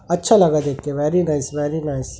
अच्छा लगा देख के वेरी नाइस वेरी नाइस--